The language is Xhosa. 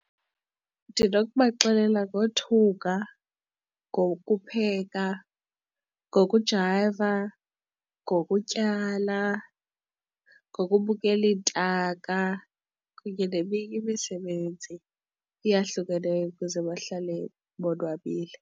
Ndinokubaxelela ngothunga, ngokupheka, ngokujayiva, ngokutyala, ngokubukela iintaka kunye neminye imisebenzi eyahlukeneyo ukuze bahlale bonwabile.